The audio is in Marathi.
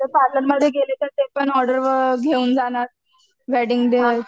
मध्ये गेले तर ते पण ऑर्डर घेऊन जाणार वेडिंग